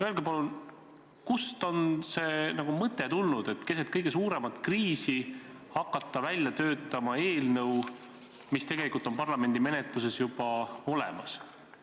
Öelge palun, kust on tulnud see mõte, et keset kõige suuremat kriisi hakata välja töötama eelnõu, mis tegelikult on parlamendi menetluses juba olemas.